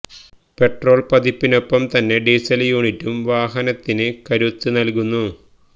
petrol പതിപ്പിനൊപ്പം തന്നെ ഡീസല് യൂണിറ്റും വാഹനത്തിന് കരുത്ത് നല്കുന്നു